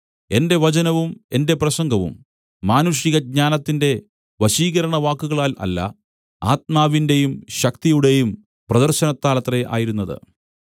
എന്റെ വചനവും എന്റെ പ്രസംഗവും മാനുഷികജ്ഞാനത്തിന്റെ വശീകരണവാക്കുകളാൽ അല്ല ആത്മാവിന്റെയും ശക്തിയുടെയും പ്രദർശനത്താലത്രേ ആയിരുന്നത്